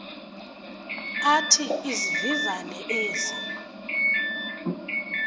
athi izivivane ezi